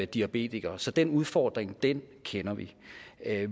diabetikere så den udfordring kender vi